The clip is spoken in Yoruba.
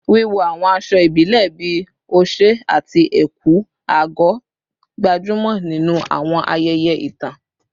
Wíwọ àwọn aṣọ ìbílẹ̀ bíi oṣé àti ẹ̀kú/àgọ̀, gbajúmọ̀ nínú àwọn ayẹyẹ ìtàn.